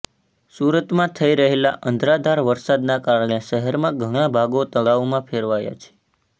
સુરતમાં થઈ રહેલા અનરાધાર વરસાદના કારણે શહેરના ઘણાં ભાગો તળાવમાં ફેરવાયા છે